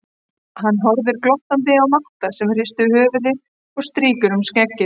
Hann horfir glottandi á Matta sem hristir höfuðið og strýkur um skeggið.